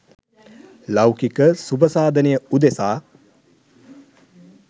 ලෞකික සුබ සාධනය උදෙසා